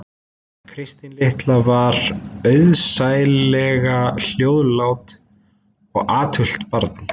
Kristín litla var auðsæilega hljóðlátt og athugult barn